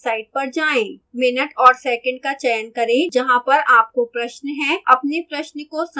minute और second का चयन करें जहाँ पर आपको प्रश्न है अपने प्रश्न को संक्षेप में बताएं